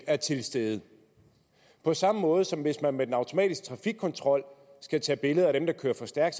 er til stede på samme måde som hvis man ved den automatiske trafikkontrol skal tage billeder af dem der kører for stærkt